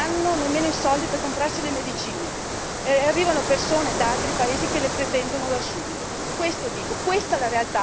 ci sono anziani che non hanno nemmeno i soldi per comprarsi le medicine e arrivano persone da altri paesi che le pretendono da subito.